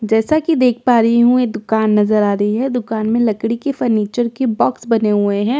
जैसा कि देख पा रही हूं ये दुकान नजर आ रही है दुकान में लकड़ी के फर्नीचर के बॉक्स बने हुए हैं बॉक्स --